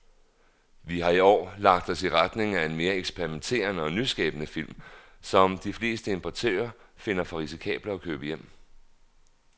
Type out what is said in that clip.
Vi har i år lagt os i retning af mere eksperimenterede og nyskabende film, som de fleste importører finder for risikable at købe hjem.